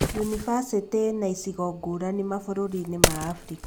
yunibacĩtĩ ĩna icigo ngũrani mabũrũrinĩ ma Africa